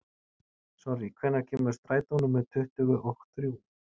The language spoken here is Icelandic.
Sonný, hvenær kemur strætó númer tuttugu og þrjú?